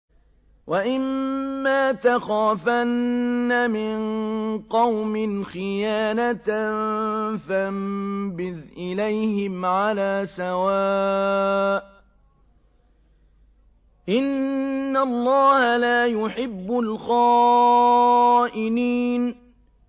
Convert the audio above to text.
وَإِمَّا تَخَافَنَّ مِن قَوْمٍ خِيَانَةً فَانبِذْ إِلَيْهِمْ عَلَىٰ سَوَاءٍ ۚ إِنَّ اللَّهَ لَا يُحِبُّ الْخَائِنِينَ